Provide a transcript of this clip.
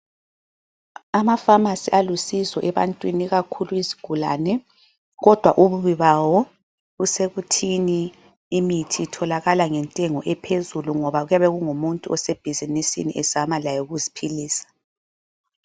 Amafamasi alusizo ebantwini, ikakhulu izigulane kodwa ububi bawo busekuthini imithi itholakala ngentengo ephezulu ngoba kuyabe kungumuntu osebhizinisini ezama laye ukuziphilisa.